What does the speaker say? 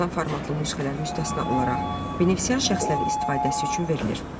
Belə əlçatan formatlı nüsxələr müstəsna olaraq benefisiar şəxslərin istifadəsi üçün verilir